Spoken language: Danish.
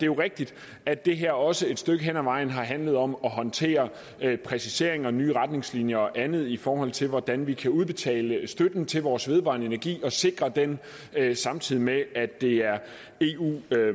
jo rigtigt at det her også et stykke hen ad vejen har handlet om at håndtere præciseringer og nye retningslinjer og andet i forhold til hvordan man kan udbetale støtten til vores vedvarende energi og sikre den samtidig med at det er eu